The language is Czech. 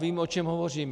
Vím, o čem hovořím.